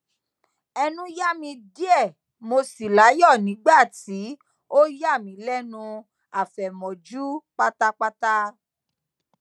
ẹnu ya mi diẹ mo si layọ nigba ti o yami lẹnu afẹmọju patapata